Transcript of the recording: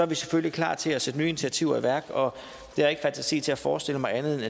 vi selvfølgelig klar til at sætte nye initiativer i værk og jeg har ikke fantasi til at forestille mig andet